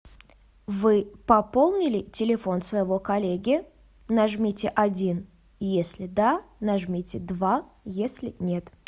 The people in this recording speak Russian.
вы пополнили телефон своего коллеги нажмите один если да нажмите два если нет